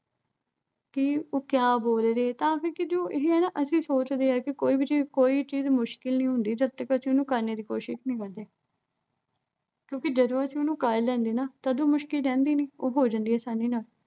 ਕਿ ਉਹ ਕਿਆ ਬੋਲ ਰਹੇ ਆ ਤਾਂ ਕਿਉਂ ਕਿ ਜੋ ਇਹੇ ਆ ਨਾ ਅਹ ਅਸੀਂ ਸੋਚਦੇ ਆਂ ਕਿ ਕੋਈ ਚੀਜ਼ ਮੁਸ਼ਕਿਲ ਨਹੀਂ ਹੁੰਦੀ, ਜਦ ਤੱਕ ਅਸੀਂ ਉਸਨੂੰ ਕਰਨੇ ਦੀ ਕੋਸ਼ਿਸ਼ ਨਹੀਂ ਕਰਦੇ। ਕਿਉਂ ਕਿ ਜਦੋਂ ਅਸੀਂ ਉਸਨੂੰ ਕਰ ਲੈਂਦੇ ਨਾ ਅਹ ਉਦੋਂ ਉਹ ਮੁਸ਼ਕਿਲ ਰਹਿੰਦੀ ਨੀਂ। ਉਹ ਹੋ ਜਾਂਦੀ ਆ ਆਸਾਨੀ ਨਾਲ।